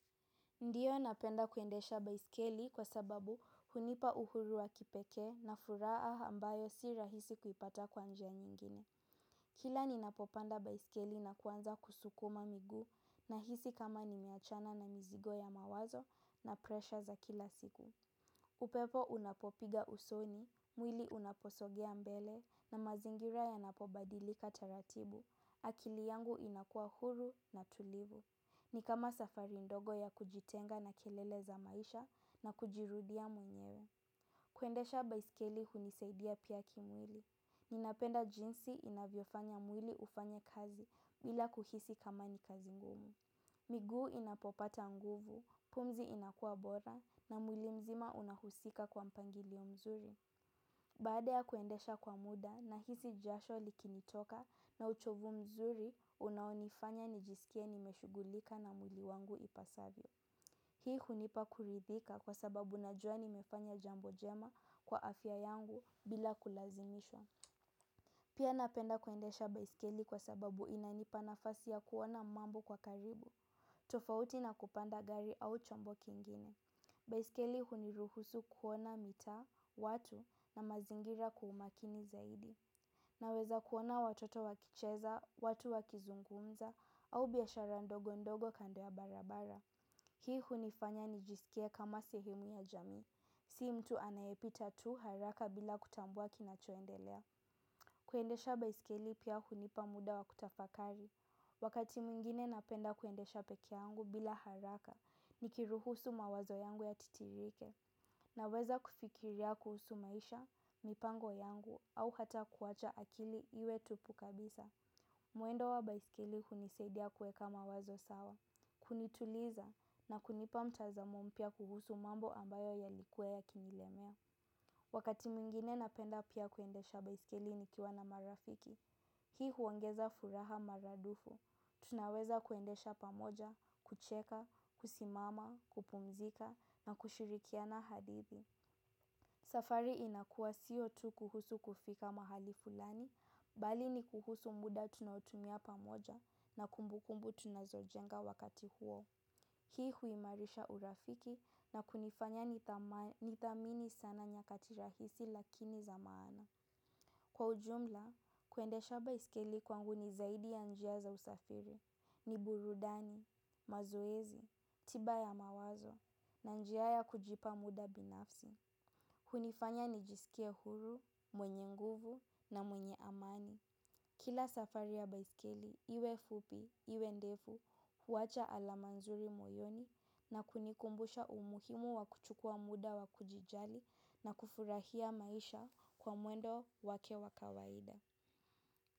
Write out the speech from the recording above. Ndiyo napenda kuendesha baiskeli kwa sababu hunipa uhuru wa kipeke na furaa ambayo si rahisi kuipata kwanjia nyingine. Kila ninapopanda baiskeli na kuanza kusukuma migu na hisi kama nimeachana na mizigo ya mawazo na presha za kila siku. Upepo unapopiga usoni, mwili unaposogea mbele na mazingira yanapobadilika taratibu. Akili yangu inakua huru na tulivu. Ni kama safari ndogo ya kujitenga na kelele za maisha na kujirudia mwenyewe. Kuendesha baisikeli hunisaidia piya kimwili. Ninapenda jinsi inavyofanya mwili ufanye kazi bila kuhisi kama ni kazi ngumu. Miguu inapopata nguvu, pumzi inakua bora na mwili mzima unahusika kwa mpangilio mzuri. Baada ya kuendesha kwa muda na hizi jasho likinitoka na uchovu mzuri unaonifanya nijisikie nimeshugulika na muili wangu ipasavyo. Hii hunipa kuridhika kwa sababu na jua nimefanya jambo jema kwa afya yangu bila kulazimishwa. Pia napenda kuendesha baiskeli kwa sababu inanipa nafasi ya kuona mambo kwa karibu, tofauti na kupanda gari au chombo kingine. Baiskeli huniruhusu kuona mita, watu na mazingira kwa umakini zaidi naweza kuona watoto wakicheza watu wakizungumza au biashara ndogo ndogo kando ya barabara. Hii hunifanya nijisikie kama sehemu ya jamii. Sii mtu anayepita tu haraka bila kutambua kinachoendelea. Kuendesha baiskeli pia hunipa muda wa kutafakari. Wakati mwingine napenda kuendesha pekeangu bila haraka. Nikiruhusu mawazo yangu ya titirike naweza kufikiria kuhusu maisha, mipango yangu au hata kuwacha akili iwe tupu kabisa. Muendo wa baisikeli huniseidia kueka mawazo sawa. Kunituliza na kunipa mtazamo mpia kuhusu mambo ambayo yalikua ya kinilemea. Wakati mingine napenda pia kuendesha baisikeli nikiwa na marafiki. Hii huongeza furaha maradufu tunaweza kuendesha pamoja kucheka kusimama kupumzika na kushirikiana hadithi. Safari inakua siotu kuhusu kufika mahali fulani, bali ni kuhusu muda tunaotumia pamoja na kumbukumbu tunazojenga wakati huo. Hii huimarisha urafiki na kunifanya nithamini sana nyakati rahisi lakini za maana. Kwa ujumla, kuendesha baiskeli kwangu ni zaidi ya njia za usafiri, ni burudani, mazoezi, tiba ya mawazo, na njia ya kujipa muda binafsi. Hunifanya nijisikie huru, mwenye nguvu na mwenye amani. Kila safari ya baiskeli, iwe fupi, iwe ndefu, huwacha alama nzuri moyoni na kunikumbusha umuhimu wa kuchukua muda wa kujijali na kufurahia maisha kwa mwendo wake wa kawaida.